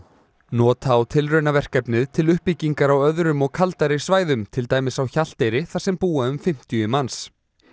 nota á tilraunaverkefnið til uppbyggingar á öðrum og kaldari svæðum til dæmis á Hjalteyri þar sem búa um fimmtíu manns